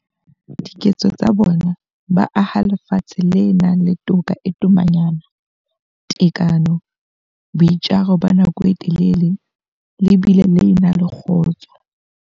Ka diketso tsa bona, ba aha lefatshe le nang le toka e tomanyana, tekano, boitjaro ba nako e telele le bile le na le kgotso.